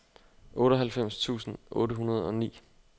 otteoghalvfems tusind otte hundrede og ni